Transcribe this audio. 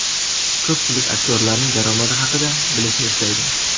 Ko‘pchilik aktyorlarning daromadi haqida bilishni istaydi.